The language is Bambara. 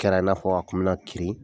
Kɛra n'a fɔ a kun me na kirin.